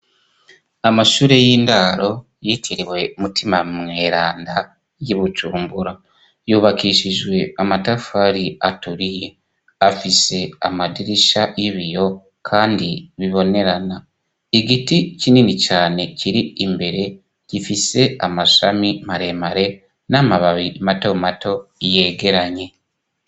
Amashure y'indaro yitiriwe Mutima Mweranda y'i Bujumbura, yubakishijwe amatafari aturiye, afise amadirisha y'ibiyo kandi bibonerana, igiti kinini cane kiri imbere gifise amashami maremare n'amababi mato mato yegeranye.